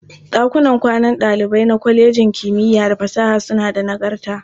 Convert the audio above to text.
Ɗakunan kwanan ɗalibai na kwalejin kimiyya da fasaha suna da nagarta.